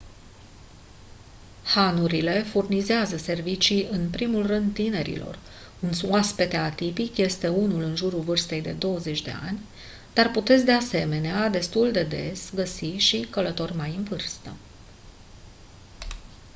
hanurile furnizează servicii în primul rând tinerilor un oaspete tipic este unul în jurul vârstei de de douăzeci de ani dar puteți de asemenena destul de des găsi și călători mai în vârstă